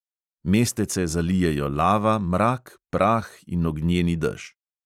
Mestece zalijejo lava, mrak, prah in ognjeni dež.